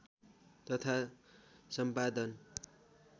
तथा सम्पादन